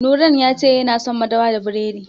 Nurain ya ce yana son madara da biredi.